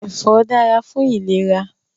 Ẹfọ dára fún ìlera